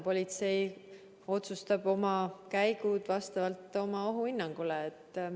Politsei otsustab oma käigud vastavalt ohuhinnangule.